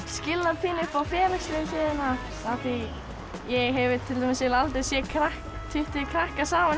skil það pínu upp á félagslegu hliðina ég hef til dæmis eiginlega aldrei séð tuttugu krakka saman